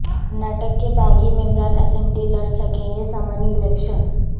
کرناٹک کے باغی ممبران اسمبلی لڑ سکیں گے ضمنی الیکشن